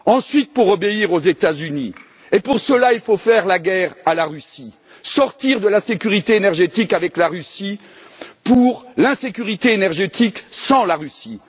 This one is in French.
Enfin, pour obéir aux États Unis, et donc faire la guerre à la Russie, sortir de la sécurité énergétique avec la Russie pour l'insécurité énergétique sans la Russie.